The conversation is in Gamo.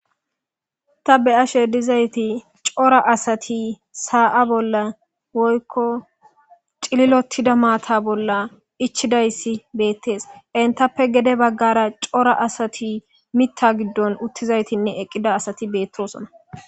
ta be ashe dizayti cora asati saa7a bolla woykko cililotida maata bolla ichidayssi beettees entappe gede baggara cora asati mitta giddon uttizaytinne eqqida asati beettosona